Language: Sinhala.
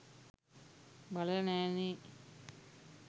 බලල නෑ නේ